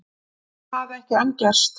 Það hafi ekki enn gerst